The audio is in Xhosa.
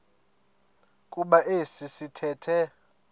kuba esi sithethe